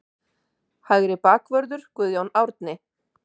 Hægri bakvörður: Guðjón Árni.